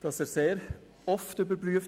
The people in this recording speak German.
Er werde sehr oft überprüft.